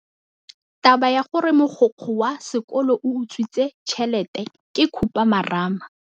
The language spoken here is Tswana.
Taba ya gore mogokgo wa sekolo o utswitse tšhelete ke khupamarama.